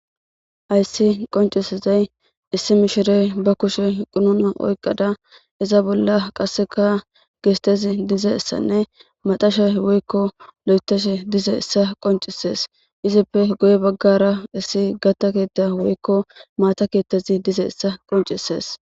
Hayiss qonccisizayi issi mishshireyi ba kushshenni qununa oyikkada izza bolla qasekka gistezzi dizayissa maaxashshe woyikko loyiththishshe dizayissa qonccisess.izzeppe guye bagara issi gata ketta woyikko Maya keththi dizayissa qonccisses.